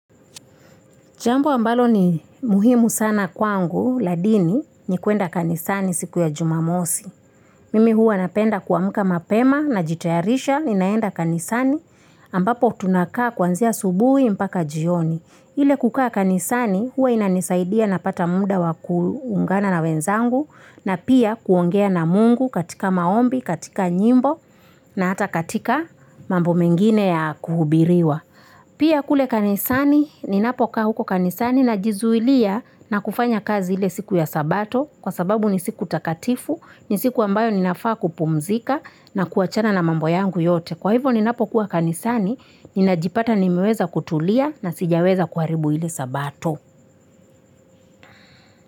Jambo ambalo ni muhimu sana kwangu la dini ni kuenda kanisani siku ya jumamosi. Mimi huwa napenda kuamuka mapema najitayarisha ninaenda kanisani, ambapo tunakaa kuanzia asubuhi mpaka jioni. Ile kukaa kanisani huwa inanisaidia napata muda wa kuungana na wenzangu, na pia kuongea na Mungu katika maombi, katika nyimbo, na hata katika mambo mengine ya kuhubiriwa. Pia kule kanisani, ninapokaa huko kanisani najizuilia na kufanya kazi ile siku ya sabato. Kwa sababu ni siku takatifu, ni siku ambayo ninafaa kupumzika na kuwachana na mambo yangu yote. Kwa hivyo ninapokua kanisani, ninajipata nimeweza kutulia na sijaweza kuharibu ile sabato.